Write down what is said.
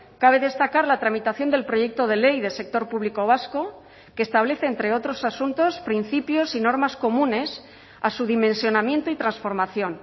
cabe destacar la tramitación del proyecto de ley del sector público vasco que establece entre otros asuntos principios y normas comunes a su dimensionamiento y transformación